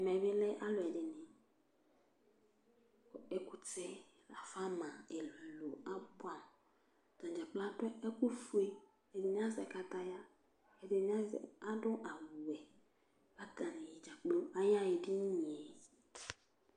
ɛmɛ bi lɛ alo ɛdini kò ɛkutɛ la fa ma ɛlò ɛlò aboɛ amo atadza kplo adu ɛkò fue ɛdini azɛ kataya ɛdini azɛ adu awu wɛ k'atani dzakplo aya ɣa edini yɛ